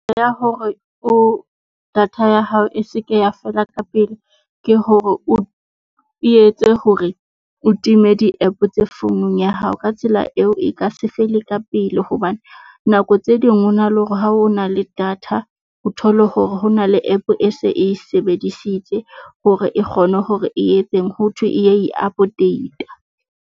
Ya hore o data ya hao e se ke ya fela ka pele ke hore o etse hore o timme di-App tse founung ya hao. Ka tsela eo e ka se fele ka pele hobane nako tse ding ho na le hore ha o na le data, o thole hore hona le app e se e sebedisitse hore e kgone hore e etseng ho thwe e ya i-update-a.